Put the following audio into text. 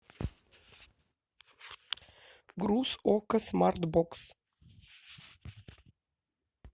груз окко смарт бокс